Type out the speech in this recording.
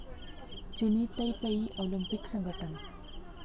चीनी Taipei Olympic संघटना